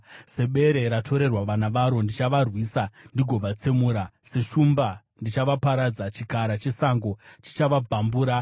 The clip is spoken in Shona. Sebere ratorerwa vana varo, ndichavarwisa ndigovabvarura. Seshumba ndichavaparadza; chikara chesango chichavabvambura.